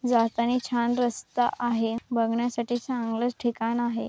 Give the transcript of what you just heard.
जातानी छान रस्ता आहे बघण्यासाठी चांगलच ठिकाण आहे.